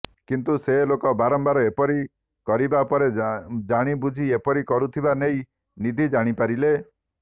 କିନ୍ତୁ ସେ ଲୋକ ବାରମ୍ବାର ଏପରି କରିବା ପରେ ଜାଣିବୁଝି ଏପରି କରୁଥିବା ନେଇ ନିଧି ଜାଣି ପାରିଲେ